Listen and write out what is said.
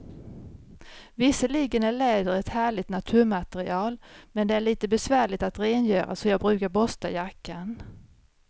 Visserligen är läder ett härligt naturmaterial, men det är lite besvärligt att rengöra, så jag brukar borsta jackan.